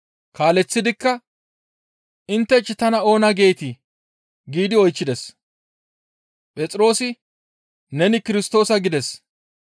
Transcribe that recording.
Kaaleththidikka, «Inttech tana oona geetii?» giidi oychchides. Phexroosi, «Neni Kirstoosa» gides.